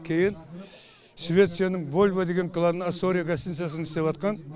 кейін швецияның вольво деген краны астория гостиницасын істепватқан